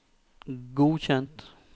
godkjent